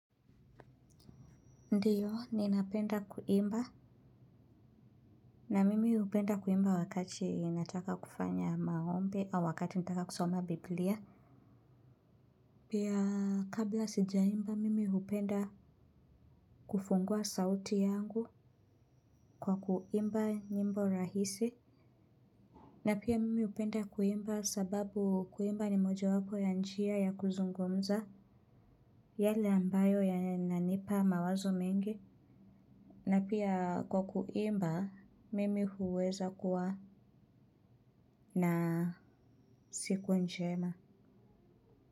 Ndiyo, ninapenda kuimba, na mimi upenda kuimba wakati nataka kufanya maombi au wakati nataka kusoma Biblia. Pia kabla sijaimba, mimi hupenda kufungua sauti yangu kwa kuimba nyimbo rahisi. Na pia mimi hupenda kuimba sababu kuimba ni mojawapo ya njia ya kuzungumza, yale ambayo yananipa mawazo mengi. Na pia kwa kuimba, mimi huweza kuwa na siku njema.